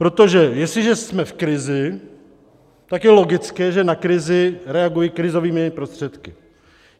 Protože jestliže jsme v krizi, tak je logické, že na krizi reaguji krizovými prostředky.